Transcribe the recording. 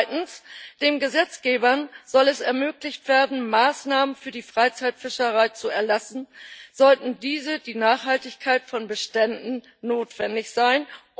Zweitens Dem Gesetzgeber soll es ermöglicht werden, Maßnahmen für die Freizeitfischerei zu erlassen, sollten diese für die Nachhaltigkeit von Beständen notwendig sein.